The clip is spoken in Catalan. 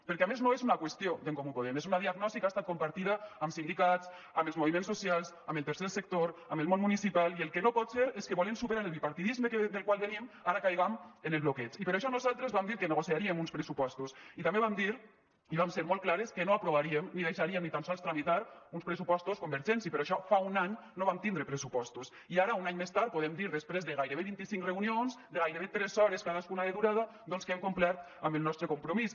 perquè a més no és una qüestió d’en comú podem és una diagnosi que ha estat compartida amb sindicats amb els moviments socials amb el tercer sector amb el món municipal i el que no pot ser és que volent superar el bipartidisme del qual venim ara caiguem en el bloqueig i per això nosaltres vam dir que negociaríem uns pressupostos i també vam dir i vam ser molt clares que no aprovaríem ni deixaríem ni tan sols tramitar uns pressupostos convergents i per això fa un any no vam tindre pressupostos i ara un any més tard podem dir després de gairebé vint i cinc reunions de gairebé tres hores cadascuna de durada doncs que hem complert amb el nostre compromís